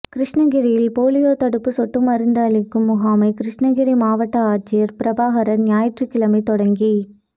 கிருஷ்ணகிரியில் போலியோ தடுப்பு சொட்டு மருந்து அளிக்கும் முகாமை கிருஷ்ணகிரி மாவட்ட ஆட்சியர் பிரபாகர் ஞாயிற்றுக்கிழமை தொடங்கி